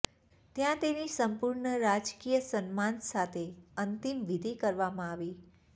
ત્યાં તેની સંપૂર્ણ રાજકીય સન્માન સાથે અંતિમવિધિ કરવામાં આવી